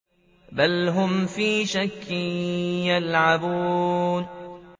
بَلْ هُمْ فِي شَكٍّ يَلْعَبُونَ